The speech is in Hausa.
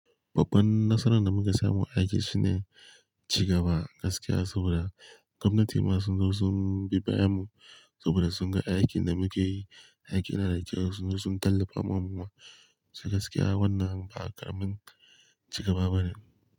Babban nasarar da muka samu a aiki shine cigaba gaskiya saboda gwamnati ma sun zo sun bi bayan mu saboda sun ga aikin da muke yi, aikin yana da kyau sun zo sun tallafa ma mu gaskiya wannan ba karamin cigaba bane.